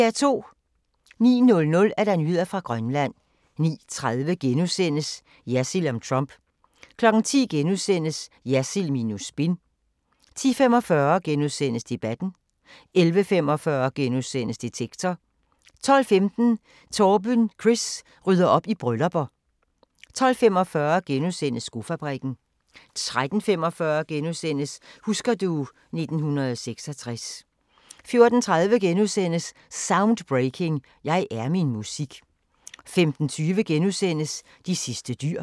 09:00: Nyheder fra Grønland 09:30: Jersild om Trump * 10:00: Jersild minus spin * 10:45: Debatten * 11:45: Detektor * 12:15: Torben Chris rydder op i bryllupper 12:45: Skofabrikken * 13:45: Husker du ... 1966 * 14:30: Soundbreaking – Jeg er min musik * 15:20: De sidste dyr *